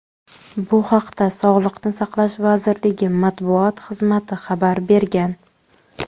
Bu haqda Sog‘liqni saqlash vazirligi matbuot xizmati xabar bergan.